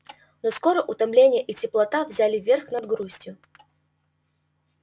но скоро утомление и теплота взяли верх над грустью